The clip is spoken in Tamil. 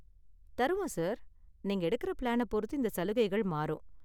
தருவோம் சார், நீங்க எடுக்கிற பிளானை பொறுத்து இந்த சலுகைகள் மாறும்.